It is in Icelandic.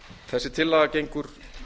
þessi tillaga gengur